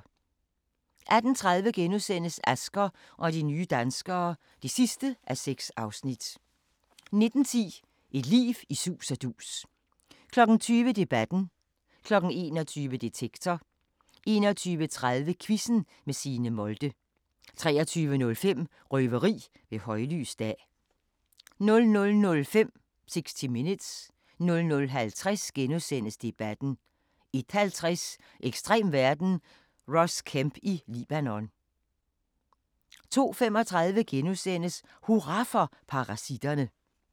18:30: Asger og de nye danskere (6:6)* 19:10: Et liv i sus og dus 20:00: Debatten 21:00: Detektor 21:30: Quizzen med Signe Molde 23:05: Røveri ved højlys dag 00:05: 60 Minutes 00:50: Debatten * 01:50: Ekstrem verden – Ross Kemp i Libanon 02:35: Hurra for parasitterne! *